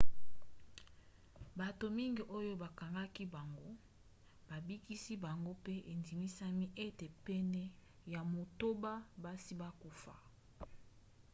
bato mingi oyo bakangaki bango babikisi bango pe endimisami ete pene ya motoba basi bakufa